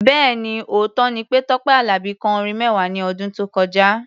Bẹ́ẹ̀ni, òótọ́ ni pé Tọ́pẹ́ Àlàbí kọ orin mẹ́wàá ní ọdún tó kọjá.